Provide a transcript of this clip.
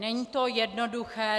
Není to jednoduché.